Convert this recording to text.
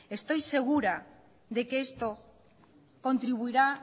estoy segura de que esto contribuirá